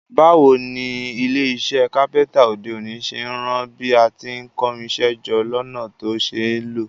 Báwoni ilé isẹ́ carpenter òde òní ṣe n ran bí a ti n kórinsẹ́ jọ lọ́nà to ṣeé lò